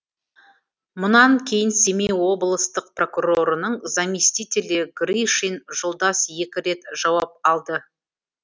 мұнан кейін семей облыстық прокурорының заместителі гришин жолдас екі рет жауап алды